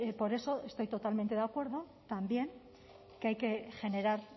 por eso estoy totalmente de acuerdo también que hay que generar